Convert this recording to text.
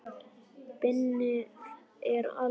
Bannið er algert.